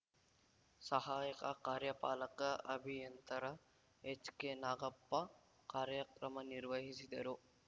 ಸಹಾಯಕ ಕಾರ್ಯಪಾಲಕ ಅಭಿಯಂತರ ಎಚ್‌ಕೆನಾಗಪ್ಪ ಕಾರ್ಯಕ್ರಮ ನಿರ್ವಹಿಸಿದರು